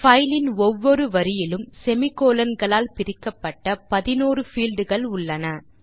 file லின் ஒவ்வொரு வரியிலும் semi கோலோன் களால் பிரிக்கப்பட்ட 11 பீல்ட் கள் உள்ளன